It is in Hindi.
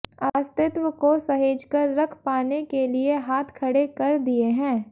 अस्तित्व को सहेज कर रख पाने के लिए हाथ खड़े कर दिए हैं